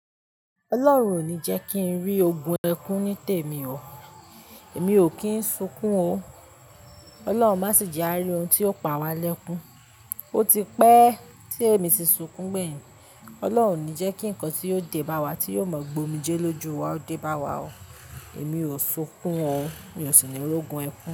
Ọlọ́run ò ní jẹ́ kí n rí ogun ẹkún ní tèmi o. Èmi ò kín sunkún o. Ọlọ́run má sì jẹ àri ohun tí ó pa wa lẹ́kún. Ó ti pẹ́ tí èmi ti sunkún gbẹ̀yìn. Ọlọ́run ò ní jẹ́ kí nǹkan tí yóò dé bá wa, tí yóò mọ̀ gbómijelóju wa ó dé bá wa o. Èmi ò sunkún o. Mi ò sì ní ri ogun ẹkún.